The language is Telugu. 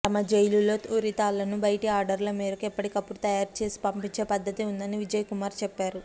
తమ జైలులో ఉరితాళ్లను బయటి ఆర్డర్ల మేరకు ఎప్పటికప్పుడు తయారు చేసి పంపించే పద్దతి ఉందని విజయ్ కుమార్ చెప్పారు